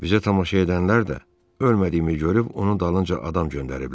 Bizə tamaşa edənlər də ölmədiyimi görüb onun dalınca adam göndəriblər.